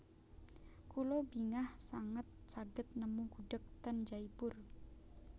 Kula bingah sanget saged nemu gudheg ten Jaipur